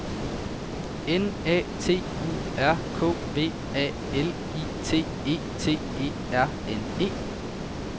N A T U R K V A L I T E T E R N E